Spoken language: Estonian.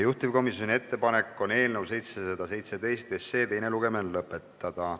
Juhtivkomisjoni ettepanek on eelnõu 717 teine lugemine lõpetada.